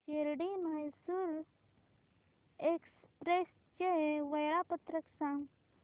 Shirdi Mysore express चे वेळापत्रक सांग